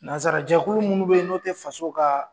Nanzarajɛkulu minnu bɛ yen n'o tɛ faso ka